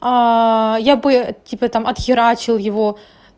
я бы типа там отхерачил его